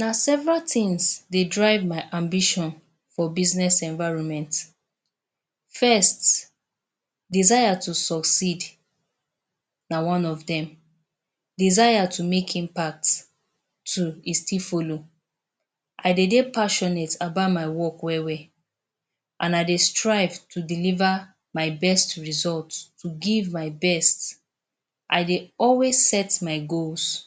Na several tins dey drive my ambition for business environment. First, desire to succeed na one of dem. Desire to make impact too, e still follow. I dey dey passionate about my work well-well, an I dey strive to deliver my best result, to give my best. I dey always set my goals,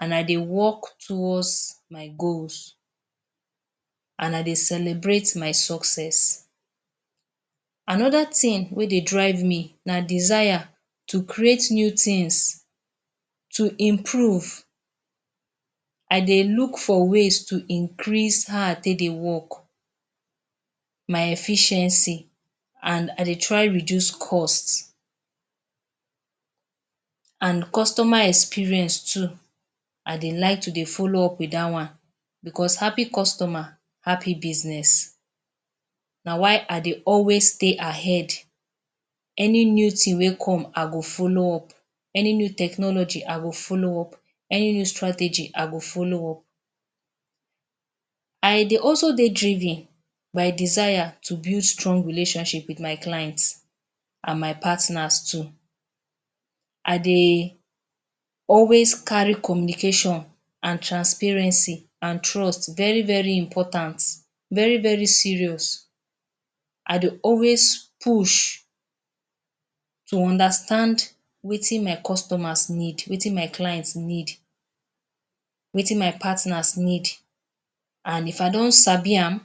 an I dey work towards my goals, an I dey celebrate my success. Another tin wey dey drive me na desire to create new tins, to improve. I dey look for ways to increase how I take dey work – my efficiency – an I dey try reduce cost. An customer experience too, I dey like to dey follow up with dat one becos happy customer, happy business. Na why I dey always stay ahead. Any new tin wey come, I go follow up. Any new technology, I go follow up. Any new strategy, I go follow up. I dey also dey driven by desire to build strong relationship with my client, an my partners too. I dey always carry communication an transparency, an trust very very important, very very serious. I dey always push to understand wetin my customers need, wetin my clients need, wetin my partners need. An if I don sabi am,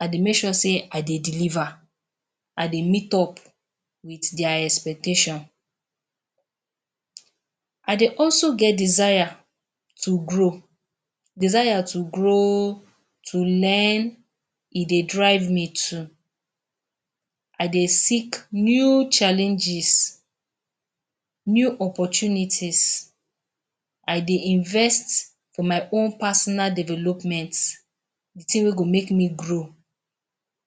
I dey make sure sey I dey deliver. I dey meet up with dia expectation. I dey also get desire to grow. Desire to grow, to learn, e dey drive me too. I dey seek new challenges, new opportunities. I dey invest for my own personal development – the tin wey go make me grow.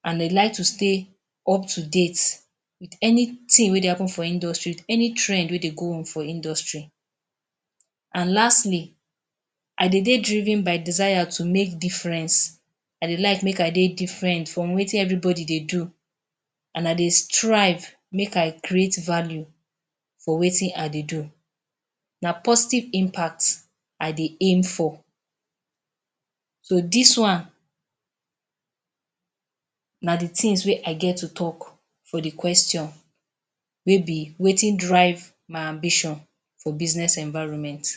An I like to stay up-to-date with anything wey dey happen for industry, any trend wey dey go on for industry. An lastly, I dey dey driven by desire to make difference. I dey like make I dey different from wetin everybody dey do, an I dey strive make I create value for wetin I dey do. Na positive impact I dey aim for. So, dis one na the tins wey I get to talk for the question wey be wetin drive my ambition for business environment.